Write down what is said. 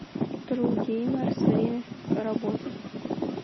тру геймерс время работы